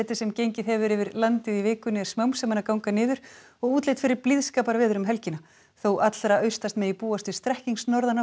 sem gengið hefur yfir landið í vikunni er smám saman að ganga niður og útlit fyrir blíðskaparveður um helgina þó allra austast megi búast við